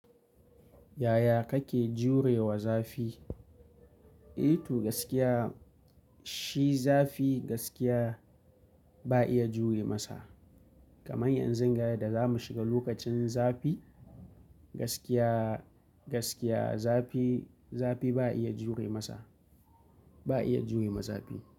Yaya kake jurewa zafi? Eh toh gaskiya, shi zafi gaskiya, ba'a iya jure masa. Kamar yanzun ga da za mu shiga lokacin zafi, gaskiya, gaskiya zafi, zafi ba'a iya jure masa, ba'a iya jure ma zafi.